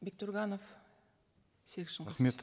бектурганов серик